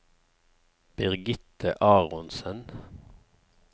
Birgitte Aronsen